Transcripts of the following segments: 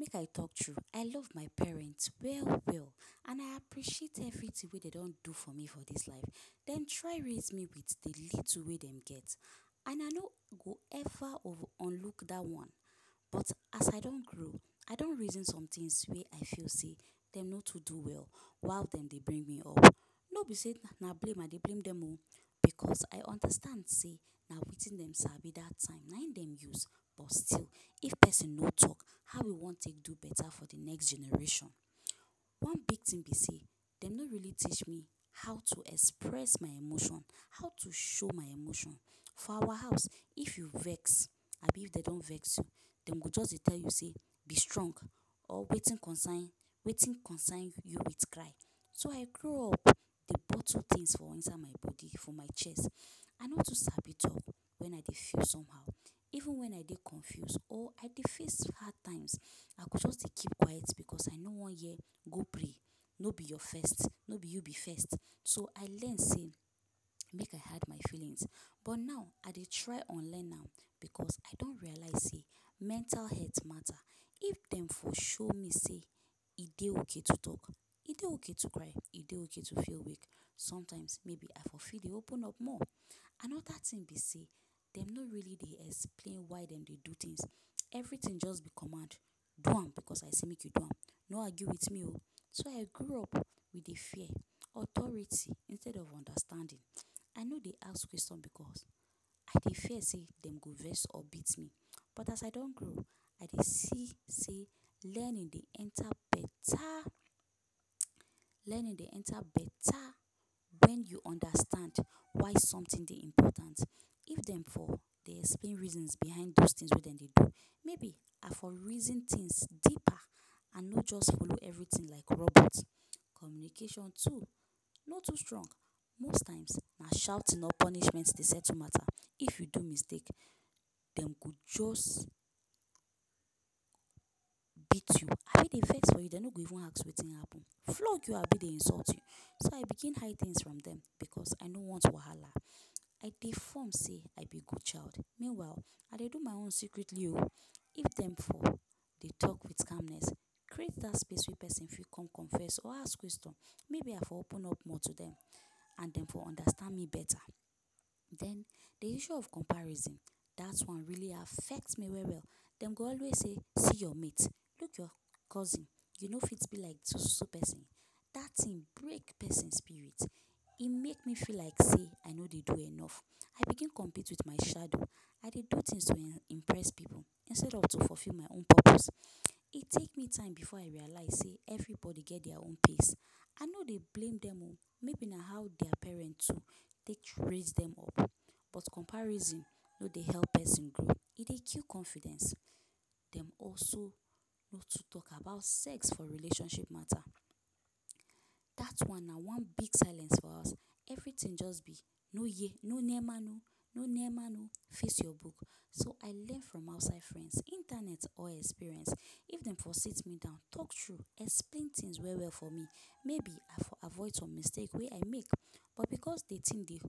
Make I talk true, I love my parents well well and I appreciate everything wey dey don do for me for this life. Dem try raise me with the little wey dem get. And I no go ever ov- unlook that one. But as I don grow, I don reason somethings wey I fell sey them no too do well while dem dey bring me up. No be sey na blame I dey blame them oh, because I understand sey na wetin dem sabi that time na him dem use. But still if person no talk how you wan take do better for the next generation? One big thing be sey dem no really teach me how to express my emotion, how to show my emotion. For our house, if you vex abi dey don vex you dem go just dey tell you sey be strong. Or wetin concern, wetin concern you with cry. So I grow up dey bottle things for inside my body for my chest. I no too sabi talk when I dey feel somehow. Even when I dey confuse or I dey face hard times, I go just dey keep quiet because I no wan hear go pray, no be your first, no be you be first. So I learn sey make I hide my feelings. But now I dey try unlearn am because I don realize sey mental health matter. If dem for show me sey e dey okay to talk, e dey okay to cry, e dey okay to feel weak sometimes, maybe I for fit dey open up more. Another thing be sey dem no really dey explain why dem dey so things. Everything just be command. Do am because I sey make you do am. No argue with me oh. So I grew up with the fear. Authority instead of understanding. I no dey ask question because I dey fear sey dem go vex up beat me. But as I don grow, I dey see sey learning dey enter better, learning dey enter better, when you understand why something dey important. If dem for dey explain reasons behind those things wey dem dey do, maybe I for reason things deeper and not just follow everything like robot. Communication too, no too strong. Most times na shouting or punishments dey settle matter. If you do mistake, dem go just beat you. Ah if dey vex for you dey no go even ask wetin happen. Flog you abi dey insult you. So I begin hide things for them because I no want wahala. I dey form sey I be good child. Meanwhile, I dey do my own secretly oh. If dem for dey talk fit calmness, create that space wey person fit come confess or ask question, maybe I for open up more to them and dem for understand me better. Then, the issue of comparison, that one really affect me well well. Dem go always say see your mate, look your cousin, you no fit be like so so so person? That thing break person spirit. E make me feel like sey I no dey do enough. I begin compete with my shadow. I dey do things to em impress people instead of to fulfill my own purpose. e take me time before I realize sey everybody get their own pace. I no dey blame dem oh. Maybe na how their parents too dey too raise them up. But comparison no dey help person grow. E dey kill confidence. Dem also no too talk about sex for relationship matter. That one na one big silence for our house. Everything just be no ye, no near man oh, no near man oh! Face your book. So I learn from outside friends, internet or experience. If dem for sit me down, talk true, explain things well well for me maybe I for avoid some mistakes wey I make. But because the thing dey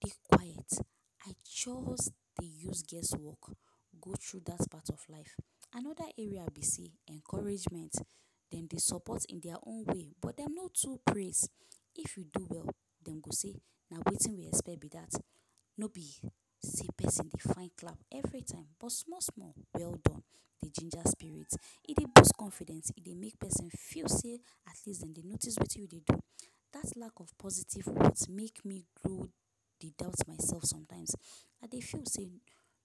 big quiet I just dey use guess work go through that part of life. Another area be sey encouragement. Dem dey support in their own way but dem no too praise. If you do well dem go sey na wetin we expect be that. No be sey person dey find clap everytime but small small welldone, dey ginger spirit. E dey boost confidence, e dey make person feel sey at least dem dey notice wetin you dey do. That lack of positive words make me grow dey doubt myself sometimes. I dey feel sey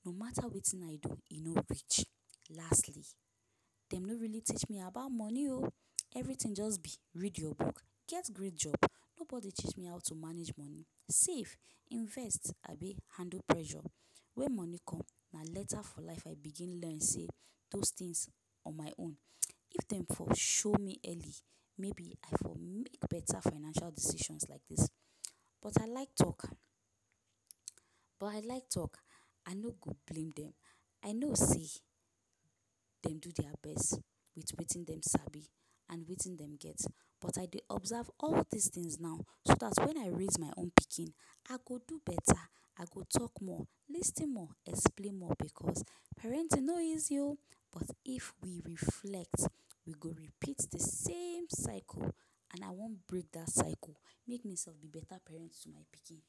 no matter wetin I do e no reach. Lastly, dem no really teach me about money oh. Everything just be read your book, get great job. Nobody teach me how to manage money, save, invest, abi handle pressure when money come. Na later for life I begin learn sey those things on my own. If dem for show me early, maybe I for make better financial decisions like this. But I like, but I like talk I no go blame them. I know sey dem do their best with wetin dem sabi and wetin dem get. But I dey observe all these things now so that, when I raise my own pikin I go do better, I go talk more, lis ten more, explain more because parenting no easy oo. But if we reflect, we go repeat the same cycle and I wan break that cycle. Make me self be better parent to my pikin.